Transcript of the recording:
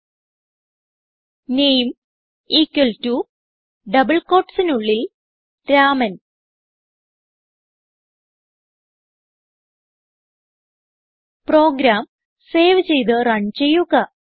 name equal to double quotesനുള്ളിൽ Raman program save ചെയ്ത് run ചെയ്യുക